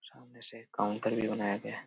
सामने से काउंटर भी बनाया गया ।